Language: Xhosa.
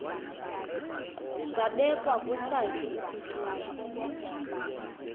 zabekwa kwesakhe isitulo